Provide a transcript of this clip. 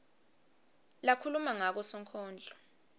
lakhuluma ngako sonkondlo